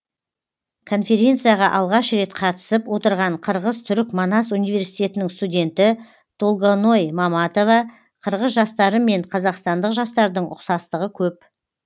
конференцияға алғаш рет қатысып отырған қырғыз түрік манас университетінің студенті толгоной маматова қырғыз жастары мен қазақстандық жастардың ұқсастығы көп